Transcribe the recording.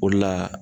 O de la